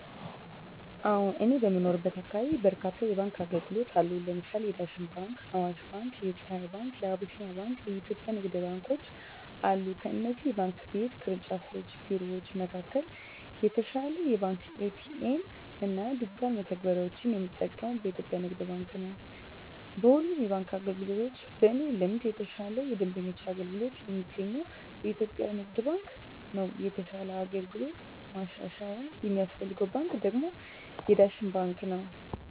አወ እኔ በምኖርበት አካባቢ በርካታ የባንክ አገልግሎት አሉ ለምሳሌ የዳሽን ባንክ :አዋሽ ባንክ :የፀሀይ ባንክ : የአቢሲኒያ ባንክ አና የኢትዮጵያ ንግድ ባንኮች አሉ ከእነዚህ የባንክ ቤት ቅርንጫፍ ቢሮወች መካከል የተሻለ የባንክ ኤ.ቲ.ኤ.ም እና ዲጅታል መተግበሪያወችን የምጠቀመው በኢትዮጵያ የንግድ ባንክ ነው። በሁሉም የባንክ አገልግሎቶች በእኔ ልምድ የተሻለ የደንበኞች አገልግሎት የሚገኘው በኢትዮጵያ ንግድ ባንክ ነው የተሻለ አገልግሎት ማሻሻያ የሚያስፈልገው ባንክ ደግሞ የዳሽን ባንክ ነው።